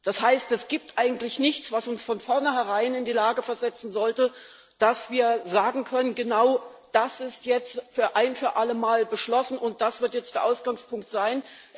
Das heißt, es gibt eigentlich nichts, was uns von vornherein in die Lage versetzen sollte zu sagen Genau das ist jetzt ein für allemal beschlossen, und das wird jetzt der Ausgangspunkt sein.